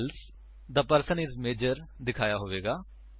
else the person is major ਦਿਖਾਇਆ ਹੋਵੇਗਾ